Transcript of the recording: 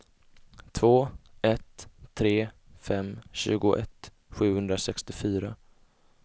två ett tre fem tjugoett sjuhundrasextiofyra